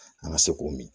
An ka se k'o min